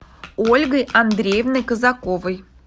ольгой андреевной казаковой